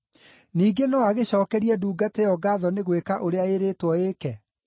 Ningĩ no agĩcookerie ndungata ĩyo ngaatho nĩ gwĩka ũrĩa ĩĩrĩtwo ĩĩke?